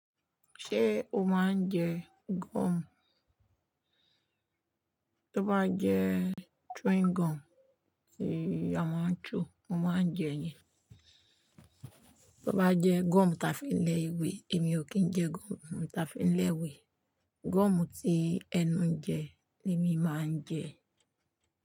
Ṣé o máa ń jẹ gum? Tí ó bá jẹ chewing gum tí a máa ń chew, mo máa ń jẹ ẹ. Tí ó bá jẹ́ gum tí a fi ń lẹ ìwé, èmi ò kí ń jẹ gum tí a fi ń lẹ ìwé. Gum tí ẹnu ń jẹ ni mi máa ń jẹ.